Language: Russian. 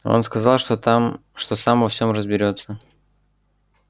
он сказал что там что сам во всем разберётся